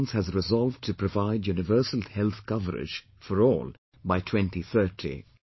United Nations has resolved to provide universal health coverage for all by 2030